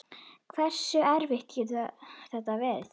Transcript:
Hversu erfitt getur þetta verið?